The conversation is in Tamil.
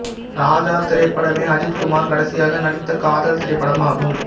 ராஜா திரைப்படமே அஜித் குமார் கடைசியாக நடித்த காதல் திரைப்படமாகும்